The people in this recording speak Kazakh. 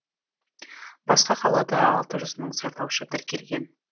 басқа қалада алты жүз мың сайлаушы тіркелген